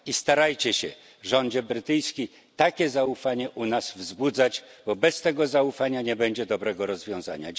I starajcie się, rządzie brytyjski, takie zaufanie u nas wzbudzać, bo bez tego zaufania nie będzie dobrego rozwiązania.